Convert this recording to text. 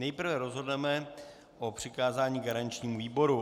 Nejprve rozhodneme o přikázání garančnímu výboru.